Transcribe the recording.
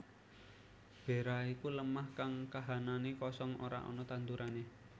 Bera iku lemah kang kahananné kosong ora ana tandurané